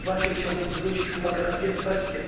W tej debacie chciałbym zwrócić uwagę na dwie kwestie.